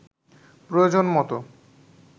প্রয়োজন মতো